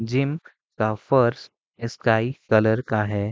Gym का फर्श sky colour का है।